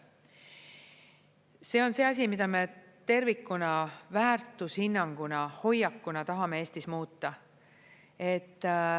See on see asi, mida me tervikuna väärtushinnanguna, hoiakuna tahame Eestis muuta.